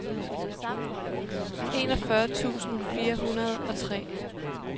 enogfyrre tusind fire hundrede og tre